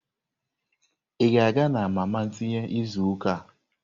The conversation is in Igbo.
Ị ga-aga na mama tinye izu ụka a?